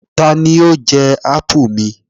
Tani ó jẹ ápù mi?